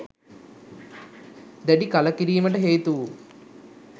දැඩි කලකිරීමට හේතු වූ